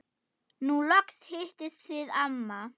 Nú loks hittist þið amma.